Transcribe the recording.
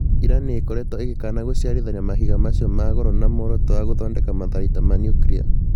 Iran nĩĩkoretwo ĩgĩkana gũciarithania mahiga macio ma goro na mworoto wa gũthondeka matharaita ma nuclear